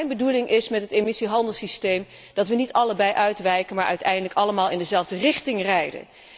Mijn bedoeling met het emissiehandelssysteem is dat wij niet allebei uitwijken, maar uiteindelijk allemaal in dezelfde richting rijden.